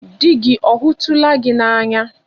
Di gị ọ hụtụla gị n'anya